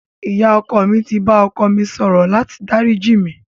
Ìyá ọkọ mi ti bá ọkọ mi sọ̀rọ̀ láti dáríjì mí.